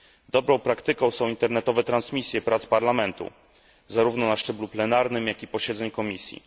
Dobrą praktyką są internetowe transmisje prac Parlamentu zarówno na szczeblu plenarnym, jak i posiedzeń komisji.